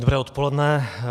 Dobré odpoledne.